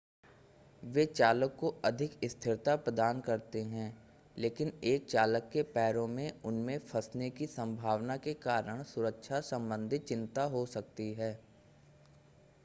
वे चालक को अधिक स्थिरता प्रदान करते हैं लेकिन एक चालक के पैरों के उनमें फंसने की सम्भावना के कारण सुरक्षा सम्बंधित चिंता हो सकती है